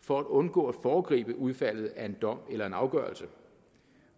for at undgå at foregribe udfaldet af en dom eller en afgørelse